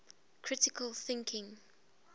critical thinking